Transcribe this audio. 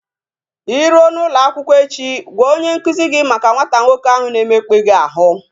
I ruo n'ụlọ akwụkwọ echi, gwa onye nkuzi gị maka nwata nwoke ahụ na-emekpa gị ahụ